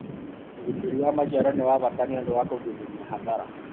ũgitĩri wa maciaro nĩ wa bata niũndũ wa kũgirĩrĩria hathara